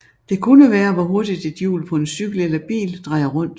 Det kunne være hvor hurtigt et hjul på en cykel eller bil drejer rundt